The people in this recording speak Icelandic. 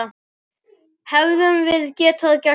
Hefðum við getað gert betur?